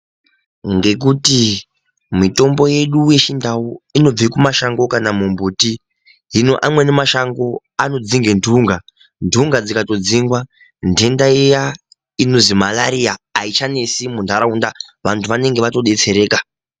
Ngekuti mitombo yedu yechindau inobve mumashango kana mumbuti zvino amweni mashango anodzinge ndunga, ndunga dzikatodzingwa, ndenda iya inonzi marariya haichanetsi muntaraunda, vantu vanonga vatodetsereka.